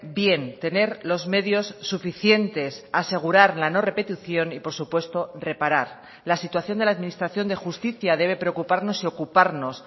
bien tener los medios suficientes asegurar la no repetición y por supuesto reparar la situación de la administración de justicia debe preocuparnos y ocuparnos